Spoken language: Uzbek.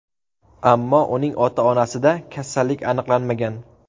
Ammo uning ota-onasida kasallik aniqlanmagan.